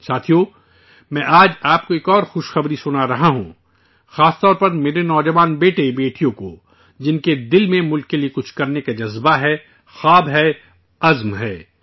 ساتھیو، میں آج آپ کو ایک اور خوش خبری سنا رہا ہوں، خاص کر میرے نوجوان بیٹے بیٹیوں کو، جن کے دلوں میں ملک کے لیے کچھ کرنے کا جذبہ ہے، خواب ہیں، عزائم ہیں